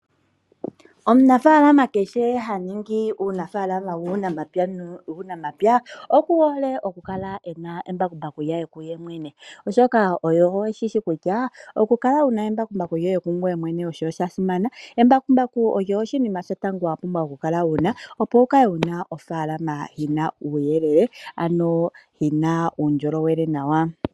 Omunafaalama kehe ha ningi uunafaalama wuunamapya, oku hole okukala ena embakumbaku lye kuye mwene, oshoka oye shi shi kutya oku kala wu na embakumbaku lyoye kungoye mwene osha simana. Embakumbaku olyo oshinima shotango wa pumbwa okukala wu na, opo wu kale wuna ofaalama yi na uuyelelele, ano yi na uundjolowele nawa.